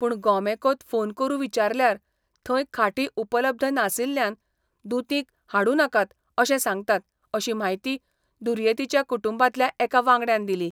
पूण गॉमॅकाँत फोन करू विचारल्यार थंय खाटी उपलब्ध नासिल्ल्यान दुतींक हाडूनाकात अशें सांगतात अशी म्हायती दुर्येतीच्या कुटुंबांतल्या एका वांगड्यान दिली.